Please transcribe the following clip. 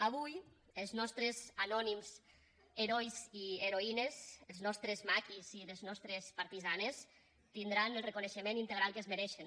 avui els nostres anònims herois i heroïnes els nostres maquis i les nostres partisanes tindran el reconeixement integral que es mereixen